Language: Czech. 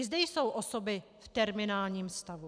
I zde jsou osoby v terminálním stavu.